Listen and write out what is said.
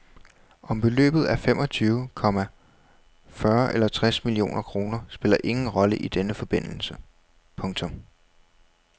Om beløbet er femogtyve, komma fyrre eller tres millioner kroner spiller ingen rolle i denne forbindelse. punktum